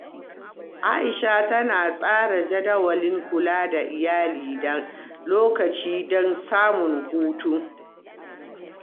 Aisha tana tsara jadawalin kula da iyali da lokacinta don samun hutu.